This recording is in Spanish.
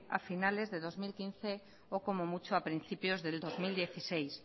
a finales del dos mil quince o como mucho a principios del dos mil dieciséis